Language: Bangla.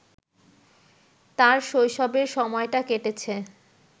তাঁর শৈশবের সময়টা কেটেছে